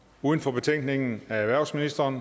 uden for betænkningen af erhvervsministeren